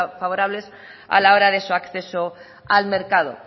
favorables a la hora de su acceso al mercado